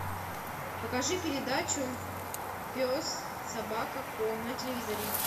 покажи передачу пес собака ко на телевизоре